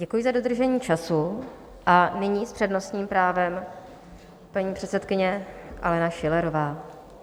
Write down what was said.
Děkuji za dodržení času a nyní s přednostním právem paní předsedkyně Alena Schillerová.